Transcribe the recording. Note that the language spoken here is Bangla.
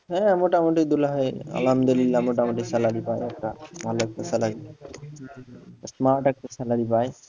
হ্যাঁ মোটামুটি দুলাভাই আলহামদুলিল্লাহ মোটামুটি salary পায় একটা, ভালো একটা salary পায়, smart একটা salary পায়।